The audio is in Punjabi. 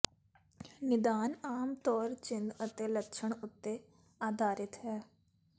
ਨਿਦਾਨ ਆਮ ਤੌਰ ਚਿੰਨ੍ਹ ਅਤੇ ਲੱਛਣ ਉੱਤੇ ਆਧਾਰਿਤ ਹੈ